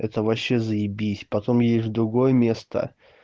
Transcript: это вообще заибись потом ей в другое место